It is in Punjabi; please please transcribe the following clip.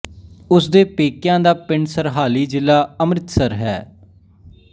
ਉਸ ਦੇ ਪੇਕਿਆਂ ਦਾ ਪਿੰਡ ਸਰਹਾਲੀ ਜ਼ਿਲਾ ਅੰਮ੍ਹਿਤਸਰ ਹੈ